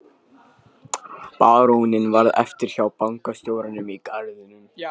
Baróninn varð eftir hjá bankastjóranum í garðinum.